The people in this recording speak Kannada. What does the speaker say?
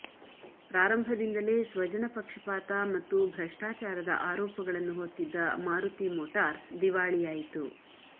ಪ್ರಾರಂಭದಿಂದಲೇ ಸ್ವಜನಪಕ್ಷಪಾತ ಮತ್ತು ಭ್ರಷ್ಟಾಚಾರದ ಆರೋಪಗಳನ್ನು ಹೊತ್ತಿದ್ದ ಮಾರುತಿ ಮೋಟಾರ್ಸ್ ದಿವಾಳಿಯಾಯಿತು